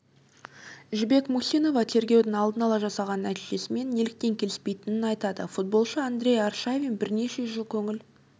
жібек мусинова тергеудің алдын ала жасаған нәтижесімен неліктен келіспейтінін айтады футболшы андрей аршавин бірнеше жыл көңіл